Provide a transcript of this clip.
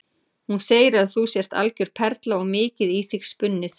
Hún segir að þú sért algjör perla og mikið í þig spunnið.